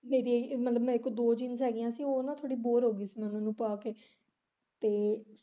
ਜਿਹੜੀ ਮਤਲਬ ਦੋ jeans ਹੈਗੀਆਂ ਸੀ ਉਹ ਨਾ ਥੌੜੀ ਬੋਰ ਹੋ ਗਈ ਸੀ ਮੈਂ ਉਹਨਾ ਨੂੰ ਪਾ ਕੇ ਤੇ।